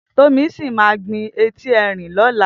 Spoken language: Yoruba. Tomisin má gbin éti èrín lòlá